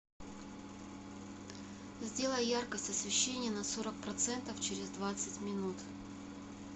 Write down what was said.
сделай яркость освещения на сорок процентов через двадцать минут